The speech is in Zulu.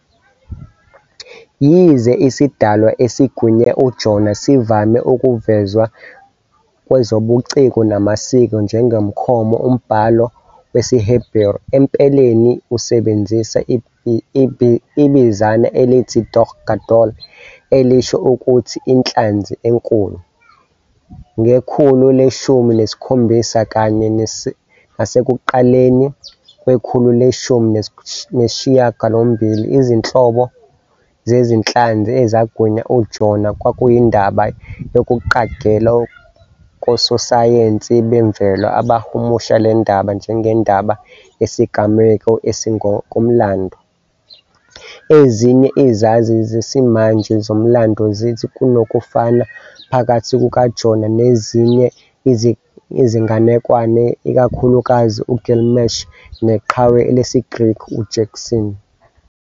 Yize isidalwa esigwinye uJona sivame ukuvezwa kwezobuciko namasiko njengomkhomo, umbhalo wesiHeberu empeleni usebenzisa ibinzana elithi "dag gadol", elisho ukuthi "inhlanzi enkulu". Ngekhulu leshumi nesikhombisa kanye nasekuqaleni kwekhulu leshumi nesishiyagalombili, izinhlobo zezinhlanzi ezagwinya uJona kwakuyindaba yokuqagela kososayensi bemvelo, abahumusha le ndaba njengendaba yesigameko esingokomlando. Ezinye izazi zesimanje zomlando zithi kunokufana phakathi kukaJona nezinye izinganekwane, ikakhulukazi uGilgamesh neqhawe lesiGreki uJason.